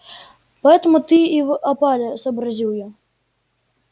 поэтому ты и в опале сообразил я